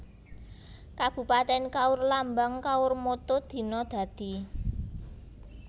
Kabupatèn KaurLambang KaurMotto Dina Dadi